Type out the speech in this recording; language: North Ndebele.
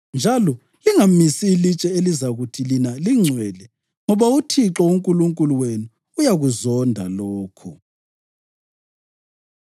njalo lingamisi ilitshe elizakuthi lina lingcwele, ngoba uThixo uNkulunkulu wenu uyakuzonda lokho.”